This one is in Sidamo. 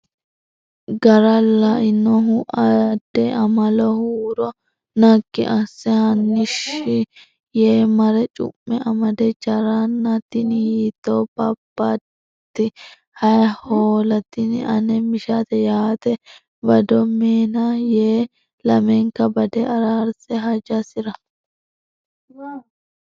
gara lainohu Aadde Amalo huuro naggi asse Hanni shii yee mare cu me amade Jarana tini hiittoo beebbaati Hay Hoola Tini ane mishate yaate bado nena yee lamenka bade araarse hajasira.